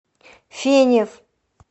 фенев